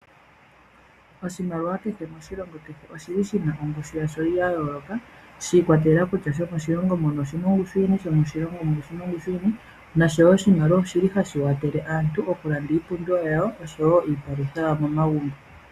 Oshimaliwa kehe moshilongo oshi li shi na ongushu ya sho ya yooloka, shi ikwatelela kutya shomoshilongo muno oshi na ongushu yini, shomoshilongo shiya oshi na ongushu yini. Noshowo oshimaliwa oshi li hashi kwathele aantu okulanda iipumbiwa yawo, oshowo iipalutha yawo momagumbo.